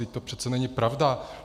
Vždyť to přece není pravda.